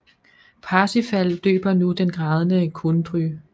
Parsifal døber nu den grædende Kundry